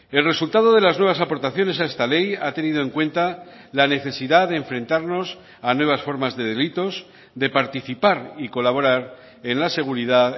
el resultado de las nuevas aportaciones a esta ley ha tenido en cuenta la necesidad de enfrentarnos a nuevas formas de delitos de participar y colaborar en la seguridad